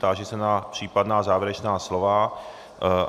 Táži se na případná závěrečná slova.